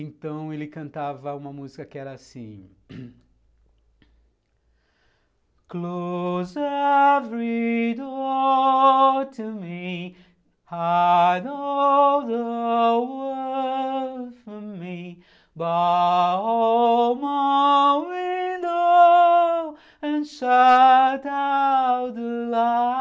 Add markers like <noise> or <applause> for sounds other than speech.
Então ele cantava uma música que era assim... <coughs> Close every door to me Hide all the world from me Bar all my windows And shut out the light